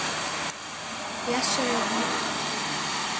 Blessuð er minning þín.